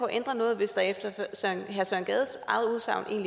ændre noget hvis der efter herre søren gades eget udsagn